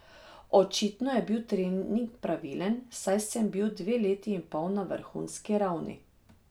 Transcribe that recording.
Očitno je bil trening pravilen, saj sem bil dve leti in pol na vrhunski ravni.